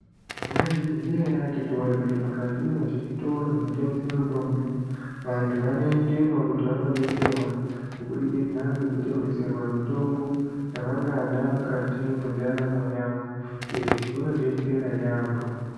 Mwaizviziya ere akhiti woye kuti mukati mwezvitoro zvinotengesa mutombo vantu vanoendemwo kuti vantu vandodetserwa kubudikidza ngekutengeserwa mitombo yavangada mukati mwendaramo yavo. Izvi zvinodetsera yaamho.